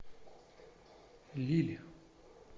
лилль